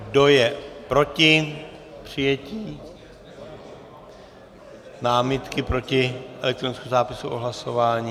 Kdo je proti přijetí námitky proti elektronickému zápisu o hlasování?